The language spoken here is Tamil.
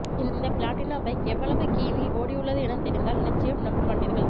இந்த பிளாட்டினா பைக் எவ்வளவு கிமீ ஓடியுள்ளது என தெரிந்தால் நிச்சயம் நம்ப மாட்டீர்கள்